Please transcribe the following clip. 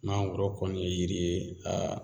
Mangoro kɔni ye yiri ye